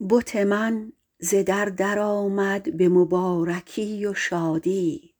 بت من ز در درآمد به مبارکی و شادی